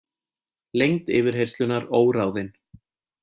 Lengd yfirheyrslunnar óráðin